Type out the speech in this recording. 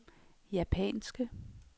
japanske